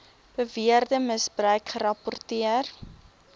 beweerde misbruik gerapporteer